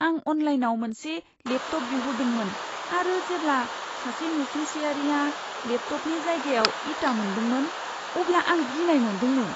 आं अनलाइनाव मोनसे लेपटप बिहरदोंमोन आरो जेब्ला सासे नसुंसेयारिआ लेपटपनि जायगायाव इटा मोनदोंमोन, अब्ला आं गिनाय मोनदोंमोन।